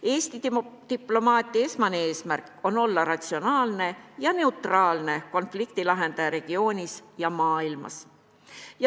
Eesti diplomaatia esmane eesmärk on olla ratsionaalne ja neutraalne konfliktilahendaja regioonis ja maailmas.